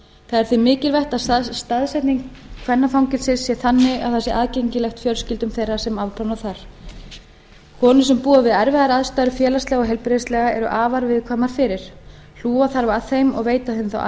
er því mikilvægt að staðsetning kvennafangelsis sé þannig að það sé aðgengilegt fjölskyldum þeirra sem afplána þar konur sem búa við erfiðar aðstæður félagslega og heilbrigðislega eru afar viðkvæmar fyrir hlúa þarf að þeim og veita þeim þá